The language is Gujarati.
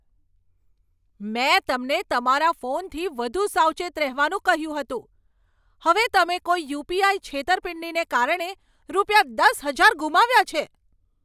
મેં તમને તમારા ફોનથી વધુ સાવચેત રહેવાનું કહ્યું હતું. હવે તમે કોઈ યુ.પી.આઈ. છેતરપિંડીને કારણે રૂપિયા દસ હજાર ગુમાવ્યા છે.